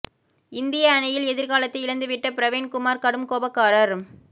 இந்திய அணியில் எதிர்காலத்தை இழந்து விட்ட பிரவீன் குமார் கடும் கோபக்காரர்